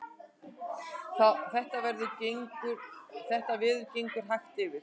Þetta veður gengur hægt yfir